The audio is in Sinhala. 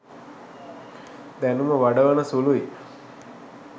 දැනුම වඩවන සුළුයි